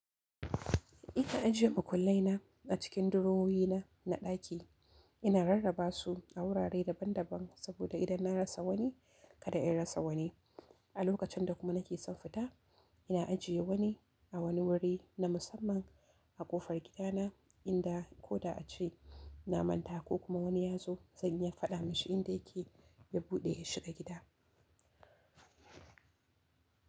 Ina ajiye makullai na a cikin durowi na, na ɗaki. Ina rarraba su a wurare daban daban saboda idan na rasa wani, kada in rasa wani. A lokacin da kuma nake son fita, ina ajiye wani a wani wuri na musamman a ƙofar gidana inda ko da ace na manta ko kuma wani ya zo, zan iya faɗa mashi inda yake ya bude ya shiga gida.